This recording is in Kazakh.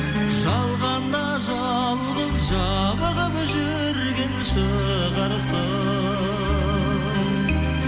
жалғанда жалғыз жабығып жүрген шығарсың